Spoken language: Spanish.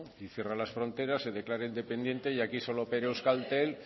y cierra las fronteras se declara independiente y aquí solo opera euskaltel